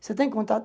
Você tem contato?